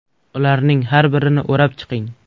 Ularning har birini o‘rib chiqing.